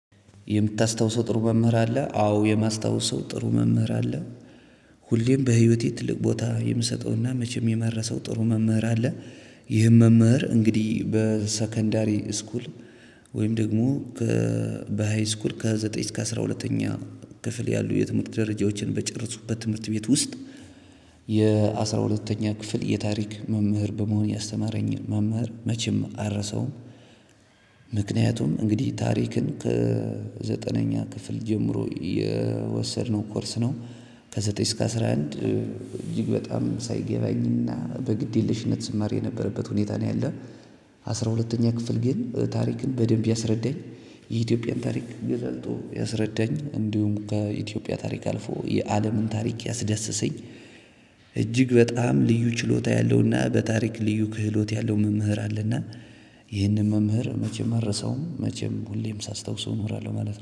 የምታስታውሰው ጥሩ መምህር አለ አዎ የማስታውሰው ጥሩ መምህር አለ። ሁሌም በህይወቴ ትልቅ ቦታ የምሰጠውና መቼም የመረሰው ጥሩ መምህር አለ። ይህም መምህር እንግዲህ በሰከንዳሪ ስኩል ወይም ደግሞ ከ በ ሃይ ስኩል ከዘጠኝ እስከ አስራ ሁለተኛ ክፍል ያሉ የትምህርት ደረጃዎችን በጨረሱበት ትምህርት ቤት ውስጥ። የአስራ ሁለተኛ ክፍል የታሪክ መምህር በመሆን ያስተማረኝን መምህር መቼም አልረሳውም። ምክንያቱም እንግዲህ ታሪክን ከዘጠነኛ ክፍል ጀምሮ የወሰድነው ኮርስ ነው። ከ ዘጠኝ እስከ አስራ አንድ እጅግ በጣም ሳይገባኝ እና በግዴለሽነት ስማርበት የነበረበት ሁኔታ ነው ያለ። አስራሁለተኛ ክፍል ግን ታሪክን በደንብ ያስረዳኝ። የኢትዮጵያ ታሪክ ያስረዳኝ እንዲሁም ከኢትዮጵያ ታሪክ አልፎ የአለም ታሪክ ያስዳሰሰኝ። እጅግ በጣም ልዩ ችሎታ ያለውና በታሪክ ልዩ ክህሎት ያለው መምህር አለና። ይህንን መምህር መቼም አረሰውም መቼም ሁሌም ሳስታውሰው እኖራለሁ ማለት ነው